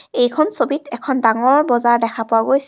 এইখন ছবিত এখন ডাঙৰ বজাৰ দেখা পোৱা গৈছে।